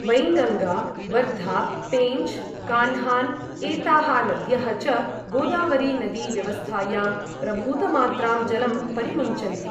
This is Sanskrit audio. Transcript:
वैङ्गाङ्गा, वर्धा, पेञ्च्, कान्हान् एताः नद्यः च गोदावरी नदी व्यवस्थायां प्रभूतमात्रां जलं परिमुञ्चन्ति।